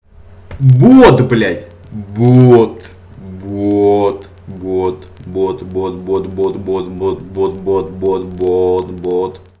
бот блять боот боот бот бот бот бот бот бот бот бот бот